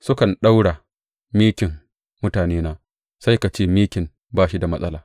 Sukan ɗaura mikin mutanena sai ka ce mikin ba shi da matsala.